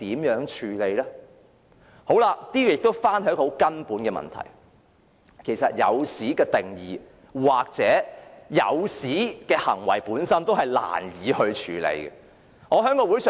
由此亦引申出一個根本問題，便是"引誘"的定義或"引誘"的行為本身是難以處理的。